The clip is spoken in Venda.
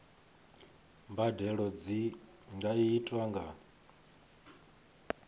mbadelo dzi nga itwa nga